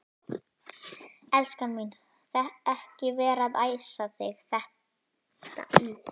Elskan mín. ekki vera að æsa þig þetta upp!